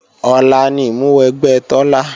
Ọ̀la ni ìmúwẹgbẹ́ Tọ́lá